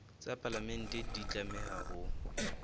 tsa palamente di tlameha ho